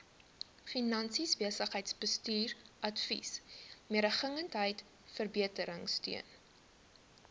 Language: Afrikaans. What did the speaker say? finansies besigheidsbestuursadvies mededingendheidsverbeteringsteun